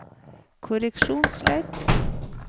korreksjonsledd